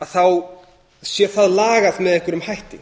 þá sé það lagað með einhverjum hætti